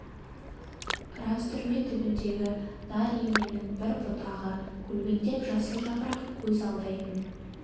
рас түрме түбіндегі нар еменнің бір бұтағы көлбеңдеп жасыл жапырақ көз алдайтын